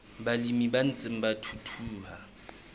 balemi ba ntseng ba thuthuha